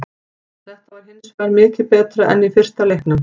Þetta var hinsvegar mikið betra en í fyrsta leiknum.